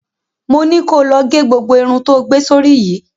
Mo ni ko lọ ge gbogbo irun tó gbé sórí yìí!